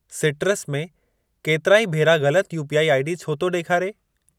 Citrus में केतिराई भेरा ग़लत यूपीआई आईडी छो थो ॾेखारे?